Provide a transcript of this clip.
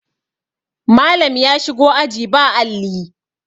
Malam ya shigo aji ba Alli